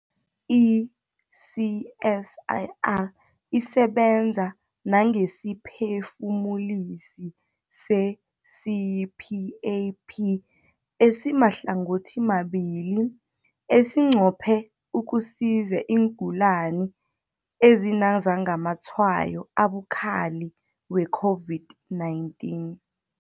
I-CSIR isebenza nangesiphefumulisi se-CPAP esimahlangothimabili esinqophe ukusiza iingulani ezinazamatshwayo abukhali we-COVID-19.